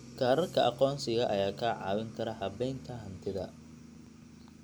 Kaararka aqoonsiga ayaa kaa caawin kara habaynta hantida.